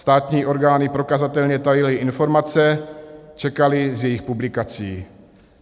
Státní orgány prokazatelně tajily informace, čekaly s jejich publikací.